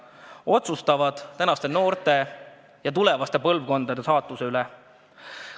Nemad otsustavad tänaste noorte ja tulevaste põlvkondade saatuse üle.